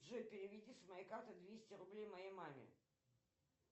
джой переведи с моей карты двести рублей моей маме